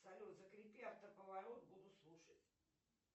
салют закрепи автоповорот буду слушать